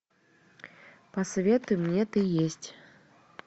посоветуй мне ты есть